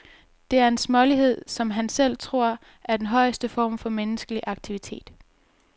Det er en smålighed, som han selv tror er den højeste form for menneskelig aktivitet.